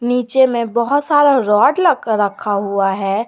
नीचे में बहोत सारा रोड लक रखा हुआ है।